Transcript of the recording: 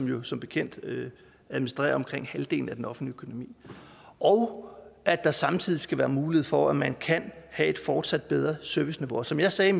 jo som bekendt administrerer omkring halvdelen af den offentlige økonomi og at der samtidig skal være mulighed for at man kan have et fortsat bedre serviceniveau og som jeg sagde